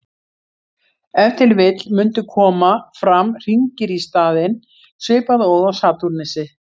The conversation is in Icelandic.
Ef til vill mundu koma fram hringir í staðinn, svipað og á Satúrnusi.